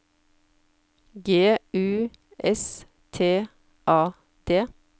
G U S T A D